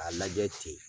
K'a lajɛ ten